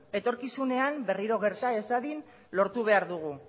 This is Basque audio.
etorkizunean berriro gerta ez dadin lortu behar dugu